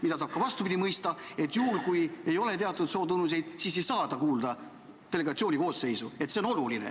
Seda saab ka vastupidi mõista, et juhul, kui ei ole teatud sootunnuseid, siis ei saa ta delegatsiooni koosseisu kuuluda.